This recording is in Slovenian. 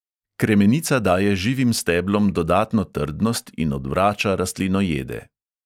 Kremenica daje živim steblom dodatno trdnost in odvrača rastlinojede.